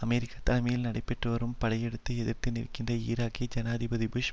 America தலைமையில் நடைபெற்றுவரும் படையெடுப்பை எதிர்த்து நிற்கின்ற ஈராக்கியர்களை ஜனாதிபதி புஷ்